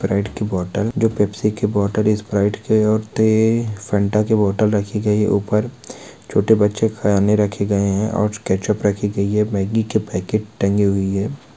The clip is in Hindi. साइड की बोतल जो पेप्सी की बोतल इस ब्राइट के - और थे फंट के बोतल रखी गई ऊपर छोटे बच्चे खाने रखे गए हैं और कैसे रखी गई है मैगी के पैकेट टंगी हुई है।